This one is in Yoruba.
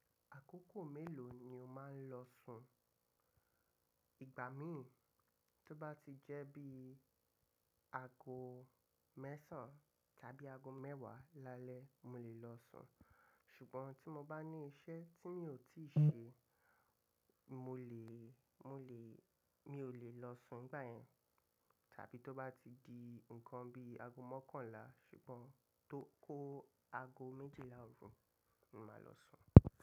Àkókò mélòó ni o máa ń lọ sùn? Ìgbà míì tó bá ti jẹ́ bí i ago mẹ́sàn tàbí ago mẹ́wàá lálẹ́ mo lè lọ sùn. Ṣùgbọ́n tí mo bá ní iṣẹ́ tí mi ò tíì ṣe, mo lè, mo lè, mi ò lè lọ sùn ìgbà yẹn. Tàbí tó bá ti di nǹkan bí ago mọ́kànlá ṣùgbọ́n tó kó ago méjìlá òrù, mo máa lọ sùn.